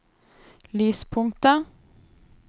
lyspunktet